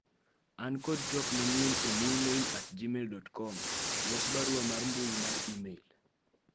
an kod twak manyien e newmail at gmail dot komlos barua mar mbui mar email